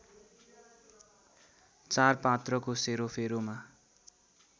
चार पात्रको सेरोफेरोमा